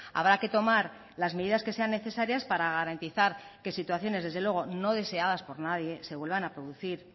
habrá que tomar las medidas que sean necesarias para garantizar que situaciones desde luego no deseadas por nadie se vuelvan a producir